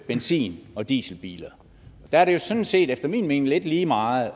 benzin og dieselbiler der er det jo sådan set efter min mening lidt lige meget